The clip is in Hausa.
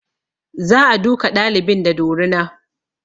Za a duka ɗalibin da dorina